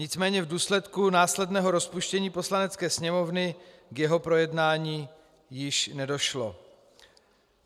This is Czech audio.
Nicméně v důsledku následného rozpuštění Poslanecké sněmovny k jeho projednání již nedošlo.